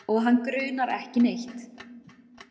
Og hann grunar ekki neitt.